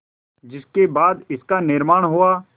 जिसके बाद इसका निर्माण हुआ